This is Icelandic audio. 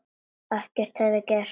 Ekkert hefði gerst.